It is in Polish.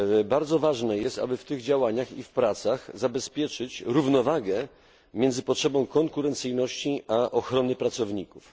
Bardzo ważne jest, aby w tych działaniach i pracach zabezpieczyć równowagę między potrzebą konkurencyjności i ochroną pracowników.